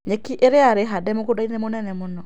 Nyeki ĩria yarĩ hande mũgũndainĩ mũnene mũno.